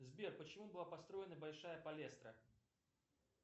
сбер почему была построена большая палестра